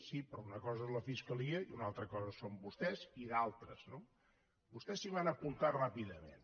sí però una cosa és la fiscalia i una altra cosa són vostès i d’altres no vostès s’hi van apuntar ràpidament